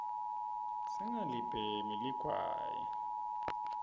singalibhemi ligwayi